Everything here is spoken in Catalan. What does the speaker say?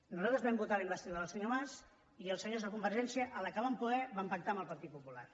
nosaltres vam votar la investidura del senyor mas i els senyors de convergència quan van poder van pactar amb el partit popular